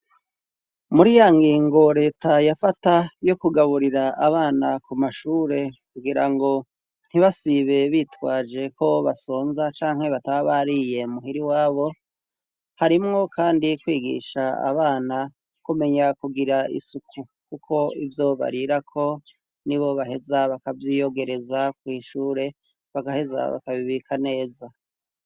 Muri ya ngingo leta yafata yo kugaburira abana ku mashure, kugira ngo ntibasibe bitwaje ko basonza canke bataba bariye muhira iwabo, harimwo kandi kwigisha abana kumenya kugira isuku, kuko ivyo barirako nibo baheza bakavyiyogereza, kw'ishure bagaheza bakabibika neza.